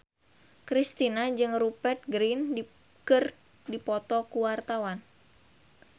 Kristina jeung Rupert Grin keur dipoto ku wartawan